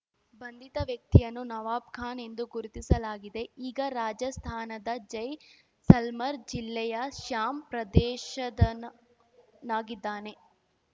ಬಂಧಿತ ವ್ಯಕ್ತಿಯನ್ನು ನವಾಬ್ ಖಾನ್ ಎಂದು ಗುರುತಿಸಲಾಗಿದೆ ಈಗ ರಾಜಸ್ತಾನದ ಜೈ ಸಲ್ಮರ್ ಜಿಲ್ಲೆಯ ಶ್ಯಾಮ್ ಪ್ರದೇಶದನನಾಗಿದ್ದಾನೆ